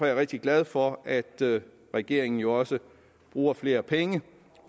jeg rigtig glad for at regeringen jo også bruger flere penge